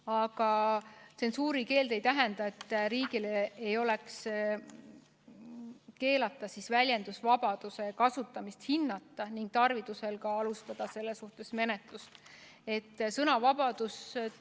Aga tsensuurikeeld ei tähenda, et riigil on keelatud väljendusvabaduse kasutamist hinnata ning tarviduse korral alustada selle suhtes menetlust.